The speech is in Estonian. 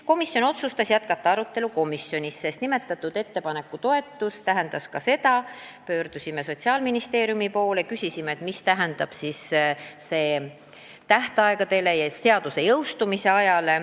Komisjon otsustas jätkata arutelu komisjonis, sest nimetatud ettepaneku toetuse tõttu pöördusime Sotsiaalministeeriumi poole ja küsisime, mida see tähendab tähtaegadele ja seaduse jõustumise ajale.